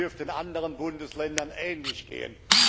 Es dürfte den anderen Bundesländern ähnlich gehen.